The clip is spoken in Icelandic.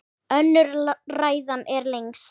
Önnur ræðan er lengst.